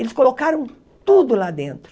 Eles colocaram tudo lá dentro.